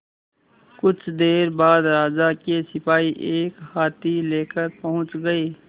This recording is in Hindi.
कुछ देर बाद राजा के सिपाही एक हाथी लेकर पहुंच गए